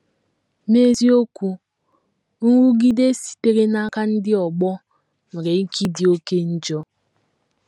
N’eziokwu, nrụgide sitere n’aka ndị ọgbọ nwere ike ịdị oké njọ.